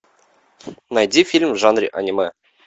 найди фильм в жанре аниме